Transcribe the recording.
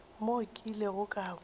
mo ke ilego ka kwa